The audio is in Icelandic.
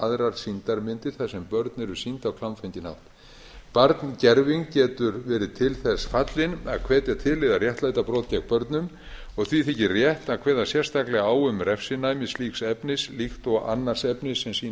aðrar sýndar myndir þar sem börn eru sýnd á klámfenginn hátt barngerving getur verið til þess fallin að hvetja til eða réttlæta brot gegn börnum og því þykir rétt að kveða sérstaklega á um refsinæmi slíks efnis líkt og annars efnis sem sýnir